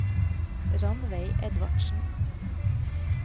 Rannveig Edvardsen